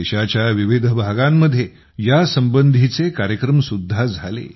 देशाच्या विविध भागांत यासंबंधीचे कार्यक्रम सुद्धा झाले